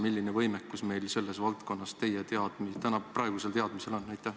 Milline on meie võimekus selles valdkonnas teie praegusel teadmisel?